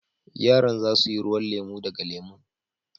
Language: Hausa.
Yaran za su yi ruwan lemu daga lemun.